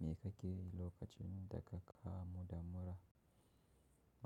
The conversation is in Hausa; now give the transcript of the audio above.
Me kakeyi lokacin da kakamu da mura?